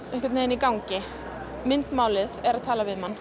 í gangi myndmálið er að tala við mann